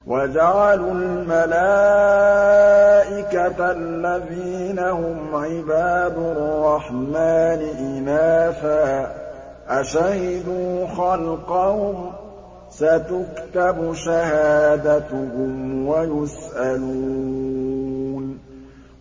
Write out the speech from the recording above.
وَجَعَلُوا الْمَلَائِكَةَ الَّذِينَ هُمْ عِبَادُ الرَّحْمَٰنِ إِنَاثًا ۚ أَشَهِدُوا خَلْقَهُمْ ۚ سَتُكْتَبُ شَهَادَتُهُمْ وَيُسْأَلُونَ